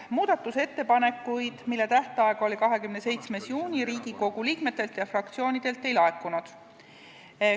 Muudatusettepanekuid tähtajaks, mis oli 27. juuni, Riigikogu liikmetelt ega fraktsioonidelt ei laekunud.